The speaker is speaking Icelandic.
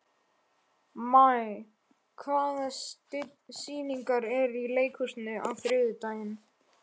Maj, hvaða sýningar eru í leikhúsinu á þriðjudaginn?